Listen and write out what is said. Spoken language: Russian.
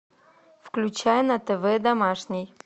включай на тв домашний